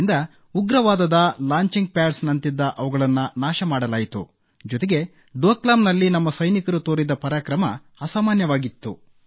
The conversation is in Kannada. ಇದರಿಂದ ಉಗ್ರವಾದದ ಲಾಂಚಿಂಗ್ ಪ್ಯಾಡ್ಸ್ ಅವುಗಳನ್ನು ನಾಶ ಮಾಡಲಾಯಿತು ಜೊತೆಗೆ ಡೊಕ್ಲಾಮ್ನಲ್ಲಿ ನಮ್ಮ ಸೈನಿಕರು ತೋರಿದ ಪರಾಕ್ರಮ ಅಸಾಮಾನ್ಯವಾಗಿತ್ತು